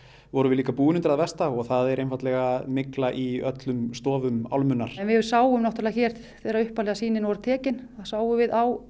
vorum við búin undir það versta og það er einfaldlega mygla í öllum stofum álmunnar við sáum náttúrulega hér þegar upphaflegu sýnin voru tekin sáum við á